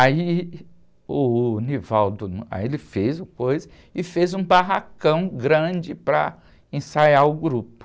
Aí o, aí ele fez o coisa, e fez um barracão grande para ensaiar o grupo.